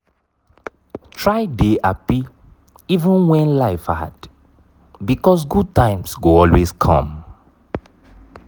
try dey happy even when life hard because good times go always come